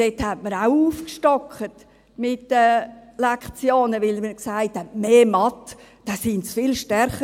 dort hat man die Lektionen auch aufgestockt, weil man sich sagte, wenn sie mehr Mathe hätten, seien sie viel stärker.